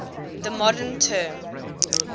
the modern term